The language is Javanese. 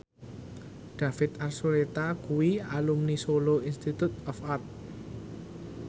David Archuletta kuwi alumni Solo Institute of Art